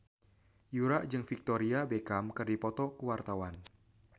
Yura jeung Victoria Beckham keur dipoto ku wartawan